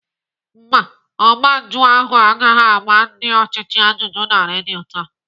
Mba, ọgba njụ ahụ agaghị agba ndị ọchịchị ajụjụ na redio taa.